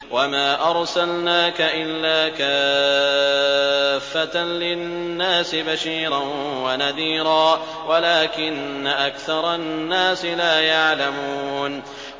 وَمَا أَرْسَلْنَاكَ إِلَّا كَافَّةً لِّلنَّاسِ بَشِيرًا وَنَذِيرًا وَلَٰكِنَّ أَكْثَرَ النَّاسِ لَا يَعْلَمُونَ